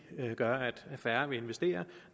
gøre at færre vil investere